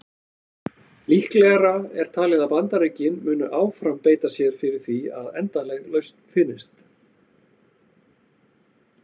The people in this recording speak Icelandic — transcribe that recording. Líklegra er talið að Bandaríkin muni áfram beita sér fyrir því að endanleg lausn finnist.